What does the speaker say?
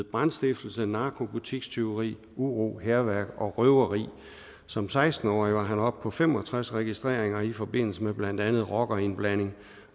brandstiftelse narko butikstyveri uro hærværk og røveri som seksten årig var han oppe på fem og tres registreringer i forbindelse med blandt andet rockerindblanding